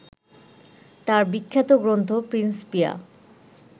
তার বিখ্যাত গ্রন্থ প্রিন্সপিয়া